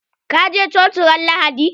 Zaka je coci ran lahadi?